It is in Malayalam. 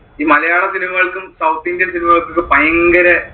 ഈ മലയാള cinema കൾക്കും south indian cinema കൾക്കും ഒക്കെ പൈങ്കരേ